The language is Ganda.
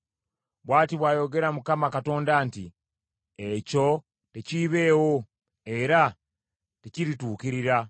Bw’ati bw’ayogera Mukama Katonda nti, “ ‘Ekyo tekiibeewo era tekirituukirira.